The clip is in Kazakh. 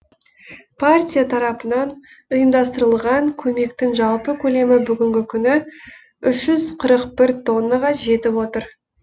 партия тарапынан ұйымдастырылған көмектің жалпы көлемі бүгінгі күні үш жүз қырық бір тоннаға жетіп отыр